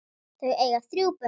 Þau eiga þrjú börn.